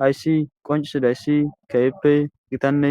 Hayssi qoncisizayssi kehippe githane